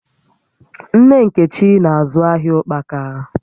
Nne Nkechi na-azụ ahịa ụkpaka